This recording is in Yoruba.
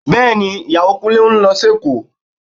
Bẹ́ẹ̀ni, Ìyàwó Kúnlé ń lọ sí Èkó